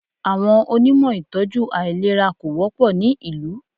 Àwọn Onímọ̀ ìtọ́jú àìlera kò wọ́pọ̀ ní ìlú.